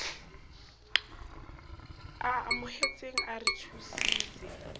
a amohetseng a re thusitse